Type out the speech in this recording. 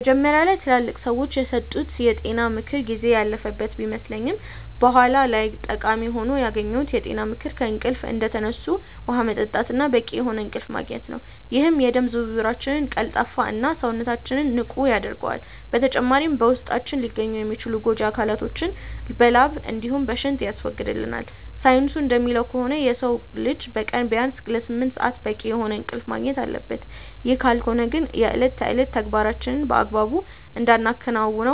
መጀመሪያ ላይ ትላልቅ ሰዎች የሰጡት የጤና ምክር ጊዜ ያለፈበት ቢመስልም በኋላ ላይ ጠቃሚ ሆኖ ያገኘሁት የጤና ምክር ከእንቅልፍ እንደተነሱ ውሃ መጠጣት እና በቂ የሆነ እንቅልፍ ማግኘት ነው፤ ይህም የደም ዝውውራችንን ቀልጣፋ እና፣ ሰውነታችንንም ንቁ ያደርገዋል። በተጨማሪም በውስጣችን ሊገኙ የሚችሉ ጎጂ አካላቶችን በላብ እንዲሁም በሽንት ያስወግድልናል። ሳይንሱ እንደሚለው ከሆነ የሰው ልጅ በቀን ቢያንስ ለስምንት ሰአት በቂ የሆነ እንቅልፍ ማግኘት አለበት፤ ይህ ካልሆነ ግን የእለት ተዕለት ተግባራችንን በአግባቡ እንዳናከናውን